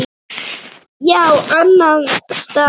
Já, annan stað.